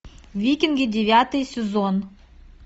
викинги девятый сезон